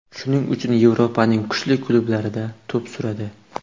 Shuning uchun Yevropaning kuchli klublarida to‘p suradi.